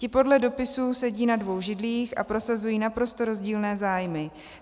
Ti podle dopisu sedí na dvou židlích a prosazují naprosto rozdílné zájmy.